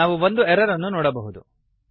ನಾವು ಒಂದು ಎರರ್ ಅನ್ನು ನೋಡಬಹುದು